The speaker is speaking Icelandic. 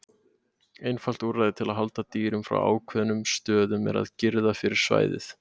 Einfalt úrræði til að halda dýrum frá ákveðnum stöðum er að girða fyrir svæðið.